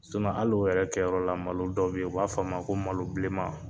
hali o yɛrɛ kɛyɔrɔ la, malo dɔ be yen, u b'a f'a ma, ko malo bilenma